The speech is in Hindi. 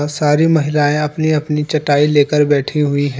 सारी महिलाएं अपनी अपनी चटाई ले कर बैठी हुईं ह--